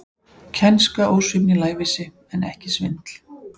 Kænska, ósvífni, lævísi, en ekki svindl.